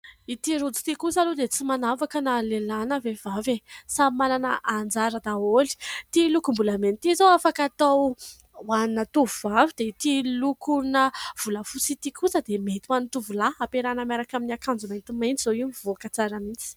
Ity rojo ity kosa aloha dia tsy manavaka na lehilahy na vehivavy e ! samy manana anjara daholo. Ity lokombolamena ity izao afaka atao ho ana tovovavy dia ity lokona volafotsy ity kosa dia mety ho an'ny tovolahy hampiarahina miaraka amin'ny akanjo maintimainty izao io mivoaka tsara mihitsy.